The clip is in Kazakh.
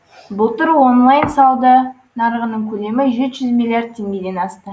былтыр онлайн сауда нарығының көлемі жеті жүз миллиард теңгеден асты